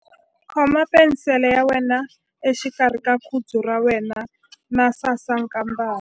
Khoma penisele ya wena exikarhi ka khudzu ra wena na sasankambana.